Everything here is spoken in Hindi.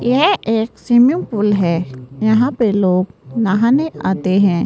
यह एक स्विमिंग पूल हैं यहां पे लोग नहाने आते हैं।